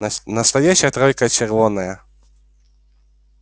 нас настоящая тройка червонная